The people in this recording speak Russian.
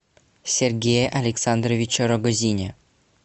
сергее александровиче рогозине